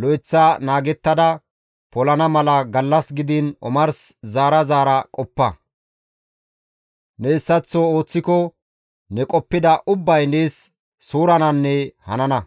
lo7eththa naagettada polana mala gallas gidiin omars zaara zaara qoppa; ne hessaththo ooththiko ne qoppida ubbay nees suurananne hanana.